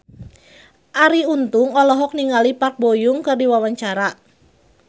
Arie Untung olohok ningali Park Bo Yung keur diwawancara